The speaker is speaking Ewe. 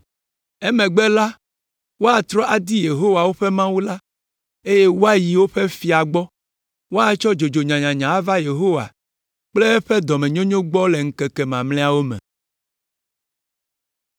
Emegbe la, woatrɔ adi Yehowa, woƒe Mawu la, eye woayi woƒe Fia gbɔ. Woatsɔ dzodzo nyanyanya ava Yehowa kple eƒe dɔmenyonyo gbɔ le ŋkeke mamlɛawo me.